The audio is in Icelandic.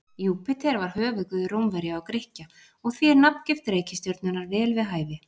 Júpíter var höfuðguð Rómverja og Grikkja og því er nafngift reikistjörnunnar vel við hæfi.